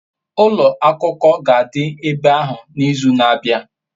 ulo akuko ga-adi ebe ahu n'izu na-abia